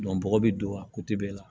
bɔgɔ bɛ don a la